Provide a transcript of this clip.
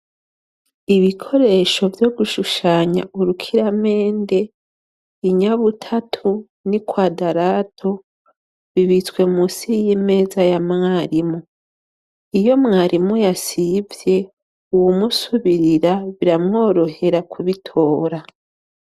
Ibikoresho vyogushushanya, urukiramende, inyabutatu, n'ikwadarato, bibitswe munsi yimeza yamwarimu, iyo mwarimu yasivye uwumusubirira biramworohera kubitora.